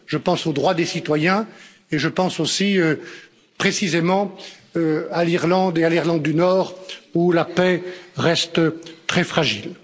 Je pense aux droits des citoyens et je pense aussi précisément à l'Irlande et à l'Irlande du Nord, où la paix reste très fragile.